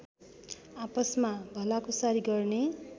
आपसमा भलाकुसारी गर्ने